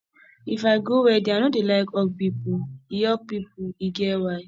if i go wedding i no dey like hug pipo e hug pipo e get why